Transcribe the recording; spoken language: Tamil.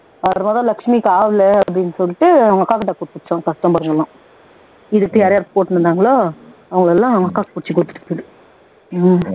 லட்சுமிக்கு ஆகல அப்படின்னு சொல்லிட்டு அவங்க அக்காகிட்ட குடுத்துட்டோம் customer கள் எல்லாம் இதுகிட்ட யார் யார் போட்டுருந்தாங்களோ அவங்க எல்லாம் அவங்க அக்காக்கு பிடிச்சு குடுத்துருச்சு